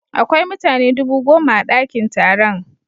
Akwai mutane dubu goma a dakin taron.